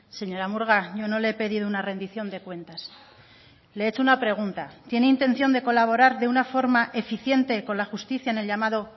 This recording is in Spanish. señora murga yo no le he pedido una rendición de cuentas le he hecho una pregunta tiene intención de colaborar de una forma eficiente con la justicia en el llamado